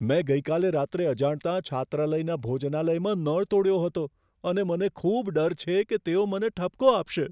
મેં ગઈકાલે રાત્રે અજાણતાં છાત્રાલયના ભોજનાલયમાં નળ તોડ્યો હતો અને મને ખૂબ ડર છે કે તેઓ મને ઠપકો આપશે.